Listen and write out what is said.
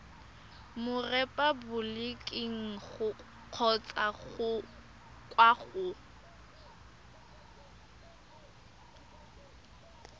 mo repaboliking kgotsa kwa go